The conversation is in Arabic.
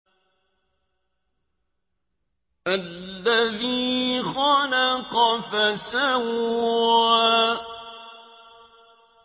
الَّذِي خَلَقَ فَسَوَّىٰ